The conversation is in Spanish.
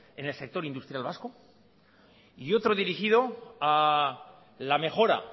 en el sector industrial vasco y otro dirigido a la mejora